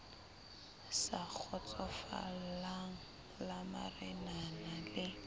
sa kgotsofalang la marenana le